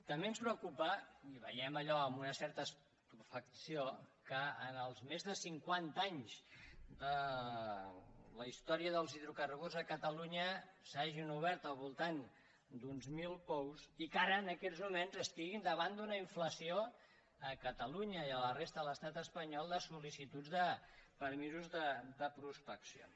també ens preocupa i ho veiem allò amb una certa estupefacció que en els més de cinquanta anys de la història dels hidrocarburs a espanya s’hagin obert al voltant d’uns mil pous i que ara en aquests moments estiguin davant d’una inflació a catalunya i a la resta de l’estat espanyol de solpeccions